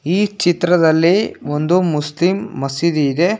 ಈ ಚಿತ್ರದಲ್ಲಿ ಒಂದು ಮುಸ್ಲಿಂ ಮಸೀದಿ ಇದೆ.